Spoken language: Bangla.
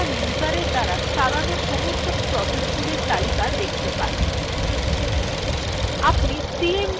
এই ভাবে আমরা বর্তমান userএর দ্বারা চালানো সমস্ত processesগুলির তালিকা দেখতে pai